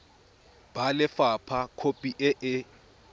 ba lefapha khopi e e